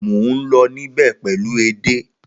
Mo n lọ nibẹ pẹlu édè.